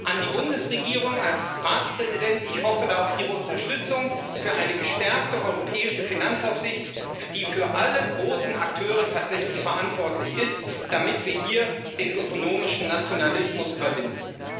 An die Bundesregierung als Ratspräsident Ich hoffe da auf Ihre Unterstützung für eine gestärkte europäische Finanzaufsicht, die für alle großen Akteure tatsächlich verantwortlich ist, damit wir hier den ökonomischen Nationalismus überwinden.